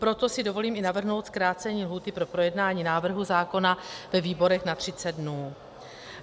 Proto si dovolím i navrhnout zkrácení lhůty pro projednání návrhu zákona ve výborech na 30 dnů.